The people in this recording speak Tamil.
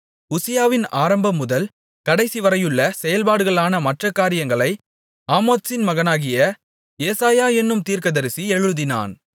உசியாவின் ஆரம்பம் முதல் கடைசி வரையுள்ள செயல்பாடுகளான மற்ற காரியங்களை ஆமோத்சின் மகனாகிய ஏசாயா என்னும் தீர்க்கதரிசி எழுதினான்